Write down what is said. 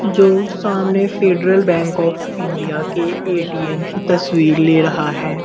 जो सामने Federal Bank of India के ए.टी.एम. की तस्वीर ले रहा है।